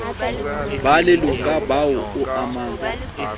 ba leloka boa o amang